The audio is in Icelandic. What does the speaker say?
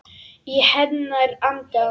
Í hennar anda.